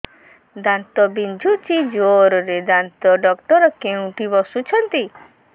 ଦାନ୍ତ ବିନ୍ଧୁଛି ଜୋରରେ ଦାନ୍ତ ଡକ୍ଟର କୋଉଠି ବସୁଛନ୍ତି